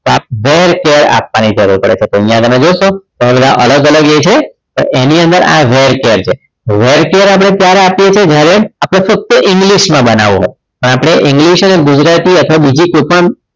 var char આપવાની અહિયાં જરૂર પડે છે તો અહિયાં તમે જોશો તમે બધા અલગ અલગ એ છે તો એની અંદર આ variable char છે variable char આપણે ક્યારે આપ્યે છીએ જયારે આપણે ફક્ત english માં બનાવો હોય પણ આપણે english અને ગુજરાતી અથવા બીજી કોઈ પણ